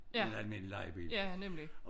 Ja ja nemlig